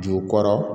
Ju kɔrɔ